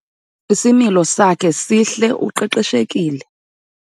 Isimilo sakhe sihle uqeqeshekile.